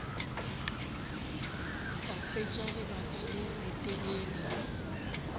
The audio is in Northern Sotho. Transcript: ka fetša lebaka le letelele